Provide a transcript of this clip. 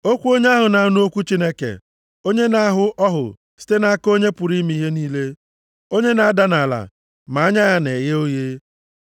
Okwu onye ahụ na-anụ okwu Chineke onye na-ahụ ọhụ site nʼaka onye pụrụ ime ihe niile. Onye na-ada nʼala ma anya ya na-eghe oghe.